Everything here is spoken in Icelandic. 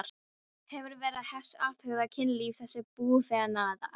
Hefur Vera Hess athugað kynlíf þessa búfénaðar?